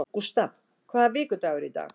Gustav, hvaða vikudagur er í dag?